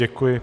Děkuji.